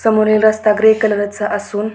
समोरील रस्ता grey colour चा असून--